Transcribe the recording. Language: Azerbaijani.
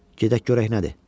Gedək görək nədir?